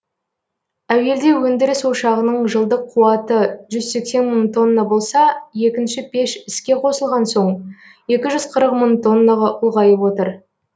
әуелде өндіріс ошағының жылдық қуаты жүз сексен мың тонна болса екінші пеш іске қосылған соң екі жүз қырық мың тоннаға ұлғайып отыр